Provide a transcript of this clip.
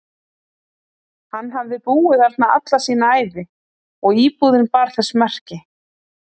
Hann hafði búið þarna alla sína ævi og íbúðin bar þess meski.